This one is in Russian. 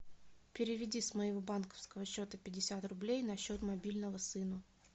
переведи с моего банковского счета пятьдесят рублей на счет мобильного сыну